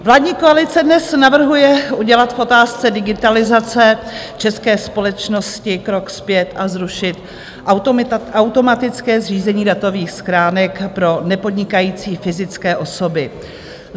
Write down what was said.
Vládní koalice dnes navrhuje udělat v otázce digitalizace české společnosti krok zpět a zrušit automatické zřízení datových schránek pro nepodnikající fyzické osoby.